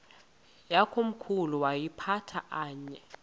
yakomkhulu woyiphatha aye